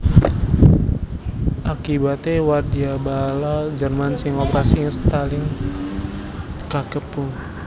Akibaté wadyabala Jerman sing operasi ing Stalingrad kakepung